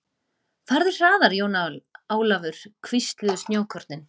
Farðu hraðar Jón Ólafur, hvísluðu snjókornin.